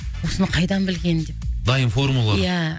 осыны қайдан білген деп дайын формула ия